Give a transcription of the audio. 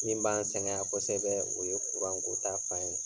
Min b'an sɛgɛn yan kosɛbɛ o ye ta fan ye.